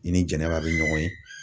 I ni jɛnɛba bɛ ɲɔgɔn ye.